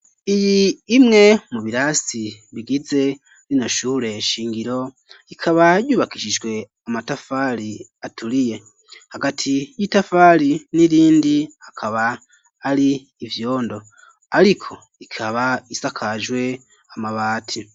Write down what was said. Iyi imwe, mu birasi bigize, rino shure shingiro, ikaba yubakishijwe, amatafari aturiye; hagati y'itafari n'irindi, hakaba hari ivyondo; ariko ikaba, isakajwe amabati.